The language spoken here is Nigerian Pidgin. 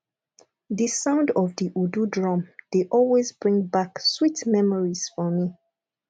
the sound of the udu drum dey always bring back sweet memories for me